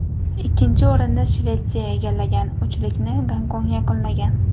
Ikkinchi o‘rinni Shvetsiya egallagan, uchlikni Gonkong yakunlagan.